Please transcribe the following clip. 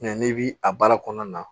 n'i bi a baara kɔnɔna na